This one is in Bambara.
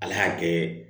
Ala y'a kɛ